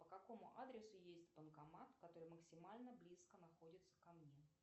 по какому адресу есть банкомат который максимально близко находится ко мне